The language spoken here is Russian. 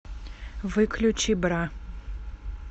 выключи бра